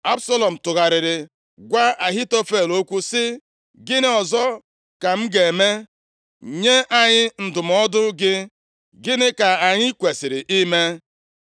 Absalọm tụgharịrị gwa Ahitofel okwu sị, “Gịnị ọzọ ka m ga-eme? Nye anyị ndụmọdụ gị. Gịnị ka anyị kwesiri ime?”